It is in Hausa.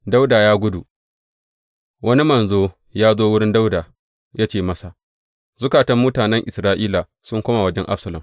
Dawuda ya gudu Wani manzo ya zo wurin Dawuda ya ce masa, Zukatan mutanen Isra’ila sun koma wajen Absalom.